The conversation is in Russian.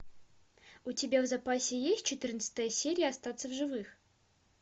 у тебя в запасе есть четырнадцатая серия остаться в живых